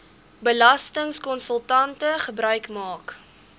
belastingkonsultante gebruik maak